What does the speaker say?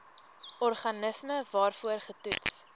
organisme waarvoor getoets